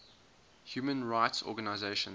human rights organizations